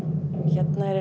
hérna er